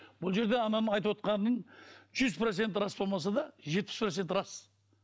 бұл жерде ананың айтыпотқанының жүз проценті рас болмаса да жетпіс проценті рас